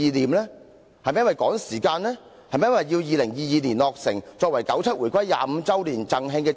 故宮館是否一項政治工程，急於在2022年落成，為九七回歸25周年"贈慶"？